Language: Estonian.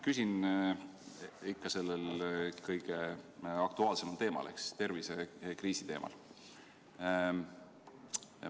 Küsin ikka sellel kõige aktuaalsemal teemal ehk tervisekriisi teemal.